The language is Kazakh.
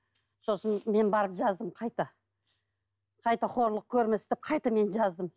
сосын мен барып жаздым қайта қайта қорлық көрмес деп қайта мен жаздым